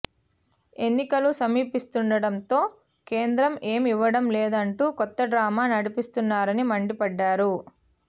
ఎన్నికలు సమీపిస్తుండటంతో కేంద్రం ఏమీ ఇవ్వడం లేదంటూ కొత్త డ్రామా నడిపిస్తున్నారని మండిపడ్డారు